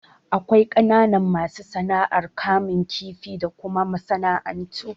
Akwai kananan masu sana'ar kamun kifi da kuma masana'antu.